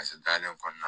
dalen kɔɔna la